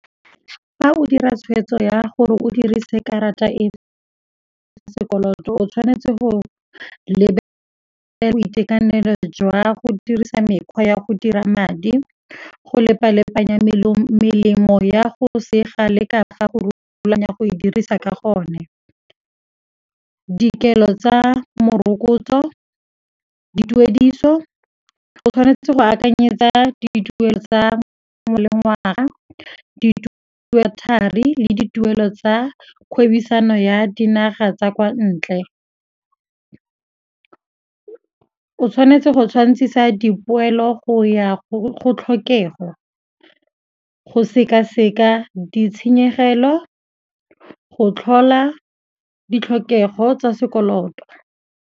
Fa o dira tshwetso ya gore o dirise karata e sekoloto o tshwanetse go lebelela boitekanelo jwa go dirisa mekgwa ya go dira madi, go lepalepanya melemo ya go sega le ka fa go rulaganya go e dirisa ka gone, dikelo tsa morokotso, dituediso. O tshwanetse go akanyetsa dituelo tsa molengwaga, dituelo thari le dituediso tsa kgwebisano ya dinaga tsa kwa ntle. O tshwanetse go tshwantsisa dipoelo go ya go tlhokego, go sekaseka ditshenyegelo, go tlhola ditlhokego tsa sekoloto.